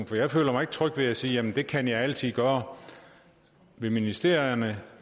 for jeg føler mig ikke tryg ved at sige at det kan jeg altid gøre ved ministerierne